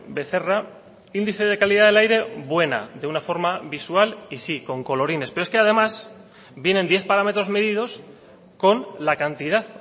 becerra índice de calidad del aire buena de una forma visual y sí con colorines pero es que además vienen diez parámetros medidos con la cantidad